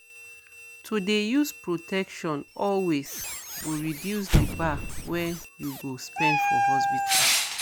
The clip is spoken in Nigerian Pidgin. to dey use protection always go reduce di bar wen you go spend for hospital